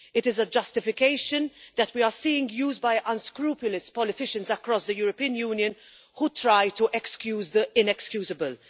It is a justification that we are seeing used by unscrupulous politicians across the European Union who try to excuse the inexcusable.